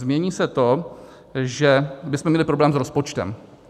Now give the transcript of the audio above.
Změní se to, že bychom měli problém s rozpočtem.